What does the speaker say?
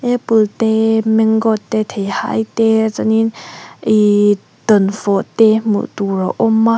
apple te mango te theihai te chuanin ihh dawnfawh te hmuh tur a awm a.